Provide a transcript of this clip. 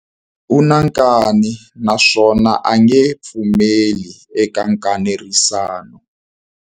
U na nkani naswona a nge pfumeli eka nkanerisano.